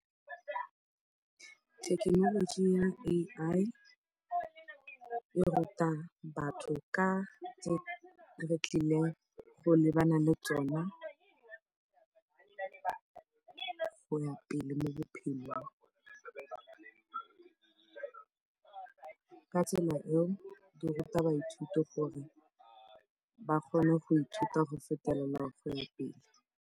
Thekenoloji ya A_I e ruta batho ka tse re tlileng go lebana le tsone go ya pele mo bophelong, ka tsela eo di ruta baithuti gore ba kgone go ithuta go fetelela go ya pele.